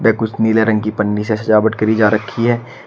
ये कुछ नीले रंग की पन्नी सा सजावट करी जा रखी है।